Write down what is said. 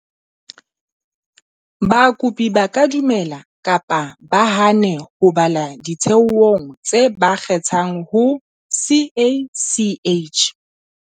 Bakopi ba ka dumela kapa ba hane ho bala ditheong tse ba kgethang ho CACH.